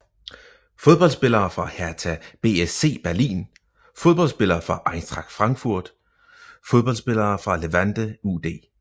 Fodboldspillere fra Hertha BSC Berlin Fodboldspillere fra Eintracht Frankfurt Fodboldspillere fra Levante UD